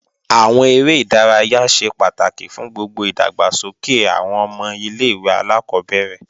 Àwọn eré ìdárayá ṣe pàtàkì fún gbogbo ìdàgbàsókè àwọn ọmọ ilé-ìwé alákọ́bẹ̀rẹ̀